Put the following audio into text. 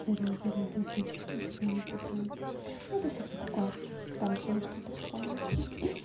зарезали двух мужчин типа они подрались но это всякое такое там ещё может что-то вспомню ха-ха